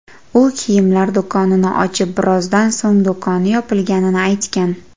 U kiyimlar do‘konini ochib, birozdan so‘ng do‘koni yopilganini aytgan .